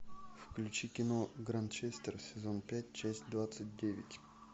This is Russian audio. включи кино гранчестер сезон пять часть двадцать девять